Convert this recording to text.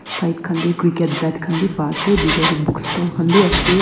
side khan te cricket bat khanbi ba ase bitor te book store khanbi ase aro.